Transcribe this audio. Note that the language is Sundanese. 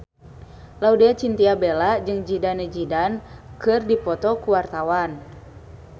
Laudya Chintya Bella jeung Zidane Zidane keur dipoto ku wartawan